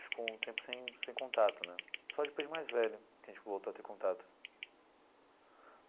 Ficou um tempo sem sem contato né, só depois de mais velho que a gente voltou a ter contato.